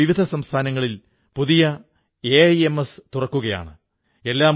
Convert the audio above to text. ഈ വിശേഷാവസരത്തിൽ ദേശവാസികൾക്ക് ഹൃദയപൂർവ്വം ശുഭാശംസകൾ നേരുകയും ചെയ്യുന്നു